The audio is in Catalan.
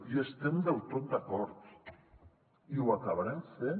hi estem del tot d’acord i ho acabarem fent